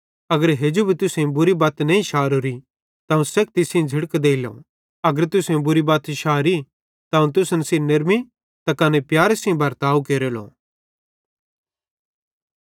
अगर हेजू भी तुसेईं बुरी बत नईं शारोरी अवं तुस सेखती सेइं झ़िड़क देइलो पन अगर तुसेईं बुरी बत शारी त अवं तुसन सेइं नेरमी त कने प्यारे सेइं बर्ताव केरेलो